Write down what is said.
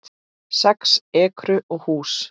Sex ekrur og hús